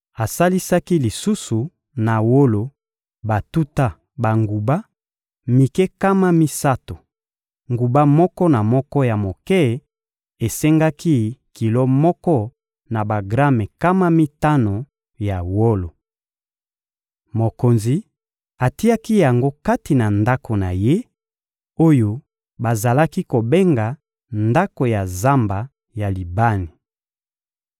Asalisaki lisusu na wolo batuta banguba mike nkama misato: nguba moko na moko ya moke esengaki kilo moko na bagrame nkama mitano ya wolo. Mokonzi atiaki yango kati na ndako na ye, oyo bazalaki kobenga «ndako ya zamba ya Libani.»